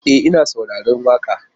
E, ina saurarar waƙa.